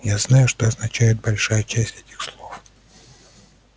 я знаю что означает большая часть этих слов